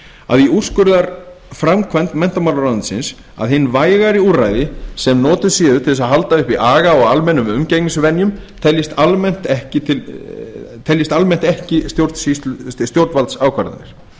að í úrskurðarframkvæmd menntamálaráðuneytisins að hin vægari úrræði sem notuð séu til að halda uppi aga og almennum umgengnisvenjum teljist almennt ekki stjórnvaldsákvarðanir